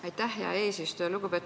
Aitäh, hea eesistuja!